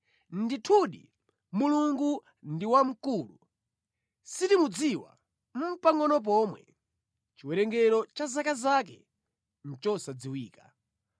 Ndithudi, Mulungu ndi wamkulu, sitimudziwa nʼpangʼono pomwe! Chiwerengero cha zaka zake nʼchosadziwika.